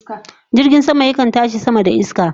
Jirgin sama yakan tashi sama da iska